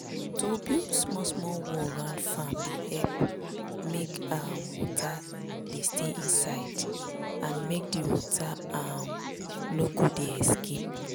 to build small small wall round farm dey help make um water dey stay inside and make the water um no go dey escape.